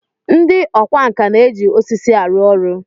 Ndị ọkwá nkà na-eji osisi arụ ọrụ